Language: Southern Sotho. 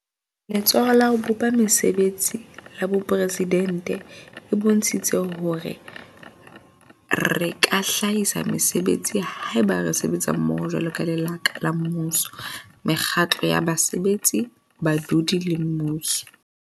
Letsholo la ho bopa Mese betsi la Boporesidente e bontshitse hore re ka hlahisa mesebetsi haeba re sebetsa mmoho jwaloka lekala la mmuso, mekgatlo ya basebetsi, badudi le mmuso.